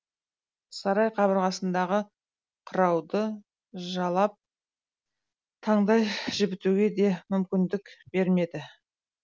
сарай қабырғасындағы қырауды жалап таңдай жібітуге де мүмкіндік бермеді